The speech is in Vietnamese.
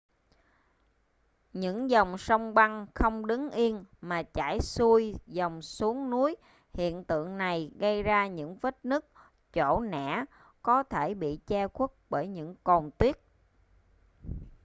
những dòng sông băng không đứng yên mà chảy xuôi dòng xuống núi hiện tượng này gây ra những vết nứt chỗ nẻ có thể bị che khuất bởi những cồn tuyết